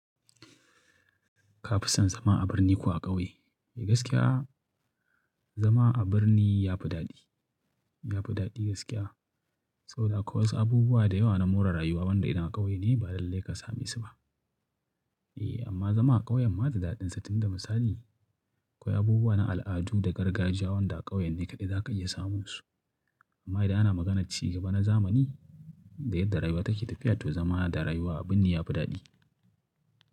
Ka fi son zama a birni ko a ƙauye? Eh gaskiya zama a birni ya fi daɗi, ya fi daɗi gaskiya saboda akwai wasu abubuwa da yawa na more rayuwa wanda idan ƙauye ne ba lallai ka same su ba. Eh amma zama a ƙauye ma da dadin sa, tun da misali akwai abubuwa na al'adu da gargajiya wanda a ƙauye ne kaɗai za ka iya samun su. Amma idan ana maganar cigaba na zamani da yadda rayuwa take tafiya to zama da rayuwa a birni yafi dadi.